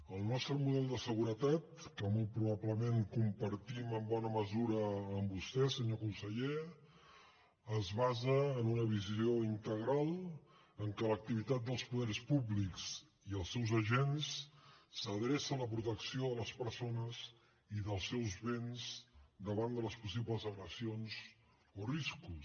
el nostre model de seguretat que molt probablement compartim en bona mesura amb vostè senyor conseller es basa en una visió integral en què l’activitat dels poders públics i els seus agents s’adreça a la protecció de les persones i dels seus béns davant de les possibles agressions o riscos